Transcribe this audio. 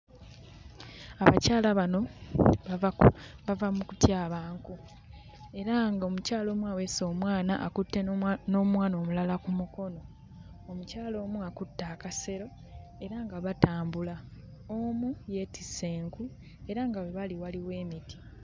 Abakyala bano bava ku bava mu kutyaba nku, era ng'omukyala omu aweese omwana, akutte n'omwana omulala ku mukono. Omukyala omu akutte akasero era nga batambula. Omu yeetisse enku era nga we bali waliwo emiti.